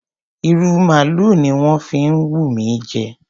ìrù maalu ni ó ń wù mí jẹ.